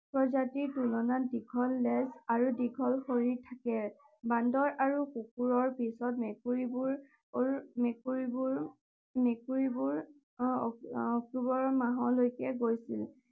প্ৰজাতিৰ তুলনাত দীঘল নেজ আৰু দীঘল শৰীৰ থাকে। বান্দৰ আৰু কুকুৰৰ পিছত মেকুৰীবোৰ মেকুৰীবোৰ অক্টোবৰ মাহলৈকে গৈছিল।